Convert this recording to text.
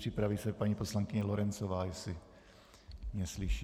Připraví se paní poslankyně Lorencová, jestli mě slyší.